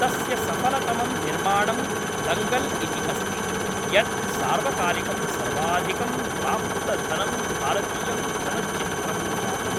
तस्य सफलतमं निर्माणं दङ्गल् इति अस्ति, यत् सार्वकालिकं सर्वाधिकं प्राप्तधनं भारतीयं चलच्चित्रं जातम्।